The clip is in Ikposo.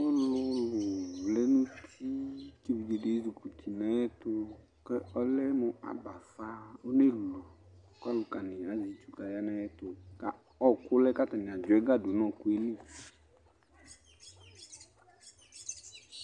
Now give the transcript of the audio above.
Ɔlʊlʊ vlɛ nʊ uti kʊ evidzedi ezikuti nʊ ayɛtʊ Kʊ ɔlɛmʊ abafa, onelu, kʊ ɔlʊkani azati kʊ aya nʊ ayɛtʊ Ɔɔkʊ lɛ kʊ atanɩ adzɔ ɛga dʊ nʊ ɔɔkʊ yɛ li